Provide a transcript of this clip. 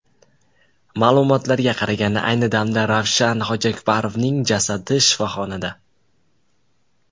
Ma’lumotlarga qaraganda, ayni damda Ravshan Hojiakbarovning jasadi shifoxonada.